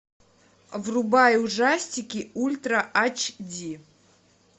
врубай ужастики ультра ач ди